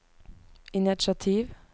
initiativ